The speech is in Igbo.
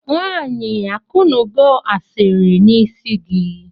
Nwanyi akụnugo asiri na isi igi?